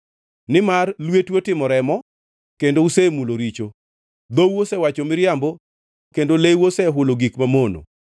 Nimar lwetu otimo remo, kendo usemulo richo. Dhou osewacho miriambo kendo leu osehulo gik mamono.